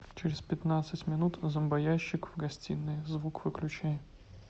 через пятнадцать минут зомбоящик в гостиной звук выключай